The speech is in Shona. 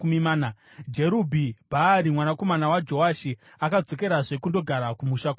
Jerubhi-Bhaari mwanakomana waJoashi akadzokerazve kundogara kumusha kwake.